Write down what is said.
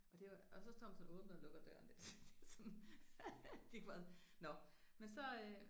Og det var og så står man sådan og åbner og lukker døren der så det er sådan gik bare nåh men så